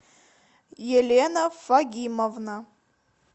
елена фагимовна